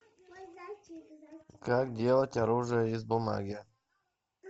как делать оружие из бумаги